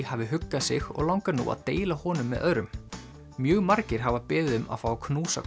hafi huggað sig og langar nú að deila honum með öðrum mjög margir hafa beðið um að fá að knúsa